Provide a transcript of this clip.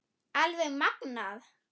Alveg magnað.